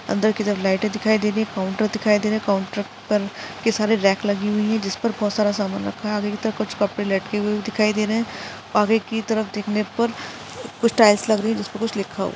अंदर की तरफ़ लाइटे दिखाई दे रही है काउंटर दिखाई दे रहा है काउंटर पर की सारे रॅक लगे हुए है जिस पर बहुत सारा समान रखा हुआ है आगे की तरफ़ कुछ कपड़े लटके हुए दिखाई दे रहे है और एक की तरफ़ देखने पर कुछ टाइल्स लग रही है जिसपे कुछ लिखा हुआ--